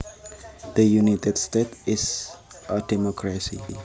The United States is a democracy